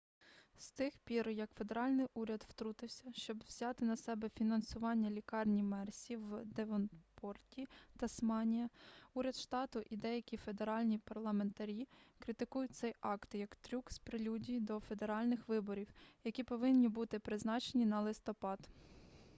з тих пір як федеральний уряд втрутився щоб взяти на себе фінансування лікарні мерсі в девонпорті тасманія уряд штату і деякі федеральні парламентарі критикують цей акт як трюк в прелюдії до федеральних виборів які повинні бути призначені на листопад